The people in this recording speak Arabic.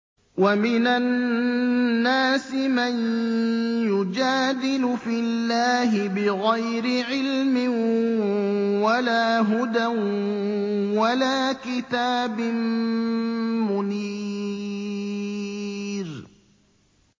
وَمِنَ النَّاسِ مَن يُجَادِلُ فِي اللَّهِ بِغَيْرِ عِلْمٍ وَلَا هُدًى وَلَا كِتَابٍ مُّنِيرٍ